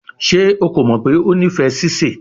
Ṣe o ko mọ pe o nifẹ sise?